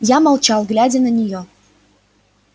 я молчал глядя на неё